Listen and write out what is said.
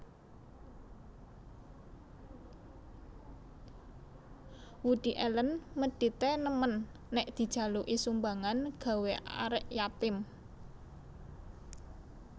Woody Allen medit e nemen nek dijaluki sumbangan gawe arek yatim